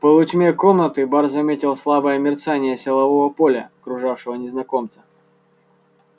в полутьме комнаты бар заметил слабое мерцание силового поля окружавшего незнакомца